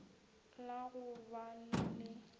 la go ba le le